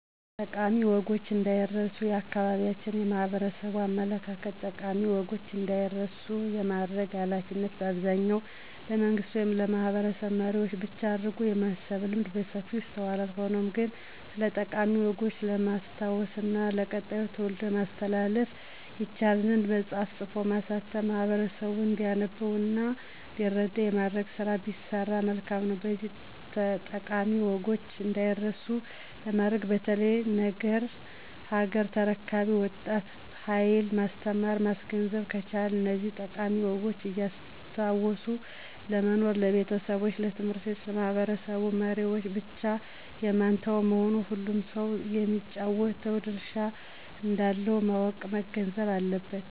ጠቃሚ ወጎች እንዳይረስ የአካባቢያችን የማህበረሰቡ አመለካከት ጠቃሚ ወጎች እንዳይረሱ የማድረግ ሀላፊነት በአብዛኛው ለመንግስት ወይም ለማህበረሰብ መሪዎች ብቻ አድርጎ የማሰብ ልምድ በሰፊው ይስተዋላል። ሆኖም ግን ስለጠቃሚ ወጎች ለማስታወስ እና ለቀጣዩ ትውልድ ለማስተላለፍ ይቻል ዘንድ መፅሐፍን ፅፎ ማሳተም ማህበረሰቡ እንዲያነበው እና እንዲረዳ የማድረግ ስራ ቢሰራ መልካም ነው። ስለዚህ ጠቃሚ ወጎች እዳይረሱ ለማድረግ በተለይ ለነገ ሀገር ተረካቢው ወጣት ሀየል ማስተማረና ማስገንዘብ ከቻልን እነዚህን ጠቃሚ ወጎች እያስታወሱ ለመኖር ለቤተሰቦች፣ ለት/ቤቶች፣ ለማህበረሰብ መሪወች ብቻ የማይተው መሆኑን ሁሉም ሰው የሚጫወተው ድርሻ እንዳለው ማወቅና መገንዘብ አለበት።